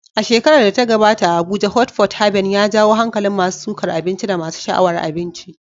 A shekarar da ta gabata, a Abuja, Hot Pot Haven ya jawo hankalin masu sukar abinci da masu sha'awar abinci.